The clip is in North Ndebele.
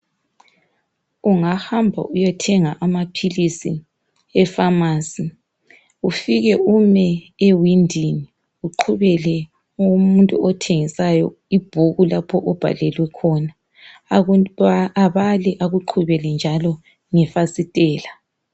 Ungahamba uyethenga amaphilisi eFamasi, ufike ume ewindini uqhubele umuntu othengisayo ibhuku lapho obhalwe khona. Abale akuqhubele njalo ngefasitela.